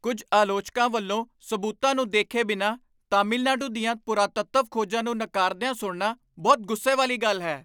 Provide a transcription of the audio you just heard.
ਕੁੱਝ ਆਲੋਚਕਾਂ ਵੱਲੋਂ ਸਬੂਤਾਂ ਨੂੰ ਦੇਖੇ ਬਿਨਾਂ ਤਾਮਿਲਨਾਡੂ ਦੀਆਂ ਪੁਰਾਤੱਤਵ ਖੋਜਾਂ ਨੂੰ ਨਕਾਰਦਿਆਂ ਸੁਣਨਾ ਬਹੁਤ ਗੁੱਸੇ ਵਾਲੀ ਗੱਲ ਹੈ।